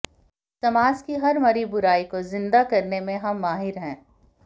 समाज की हर मरी बुराई को जिंदा करने में हम माहिर हैं